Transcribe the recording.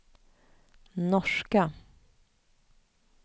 norska